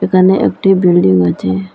তানে একটি বিল্ডিং আছে।